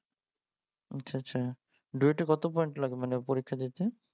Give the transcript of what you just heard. আচ্ছা আচ্ছা ডুয়েটে কত পয়েন্ট লাগে মানে পরীক্ষা দিতে